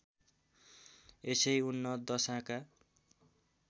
यसै उन्नत दशाका